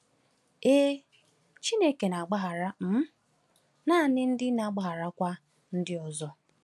Ee, Chineke na-agbaghara um naanị ndị na-agbagharakwa ndị ọzọ.